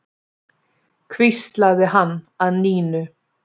hvíslaði hann að Nínu.